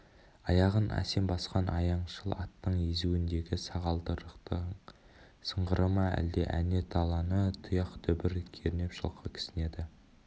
аяғын әсем басқан аяңшыл аттың езуіндегі сағалдырықтың сыңғыры ма қалай әне даланы тұяқ дүбір кернеп жылқы кісінеді